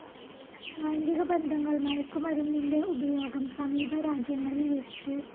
ലൈംഗികബന്ധങ്ങൾ, മയക്കുമരുന്നിന്റെ ഉപയോഗം, സമീപരാജ്യങ്ങളിൽ എച്ച്.